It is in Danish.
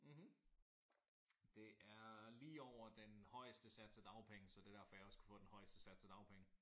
Mh det er lige over den højeste sats af dagpenge. Så det er derfor jeg også kunne få den højeste sats af dagpenge